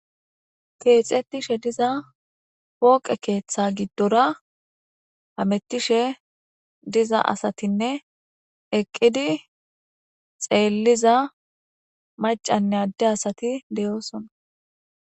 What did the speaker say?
keexettishe diza pooqe keeththa giddora hamettishe diza asatinne eqqidi xeelliza macanne adde asati deyoosona